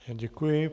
Děkuji.